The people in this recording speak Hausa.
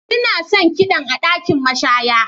Ina son kiɗan a ɗakin mashaya.